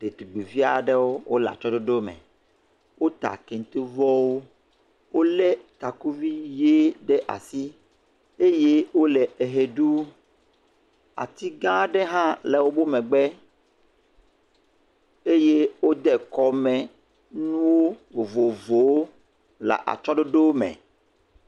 Detugbivi aɖewo. Wole atsyɔ̃ɖoɖo me. Wota kentevɔwo. Wolé takuvi ʋee ɖe asi. Eye wole eʋe ɖum. Atigãa aɖe hã le woƒo megbe. Eye wode kɔmenuwo vovovowo le atsyɔ̃ɖoɖo me.